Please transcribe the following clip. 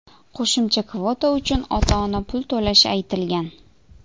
Qo‘shimcha kvota uchun ota-ona pul to‘lashi aytilgan.